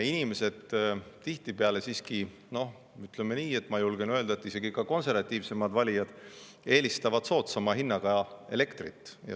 Inimesed tihtipeale siiski, noh, ütleme nii – ma julgen seda öelda –, et isegi ka konservatiivsemad valijad eelistavad soodsama hinnaga elektrit.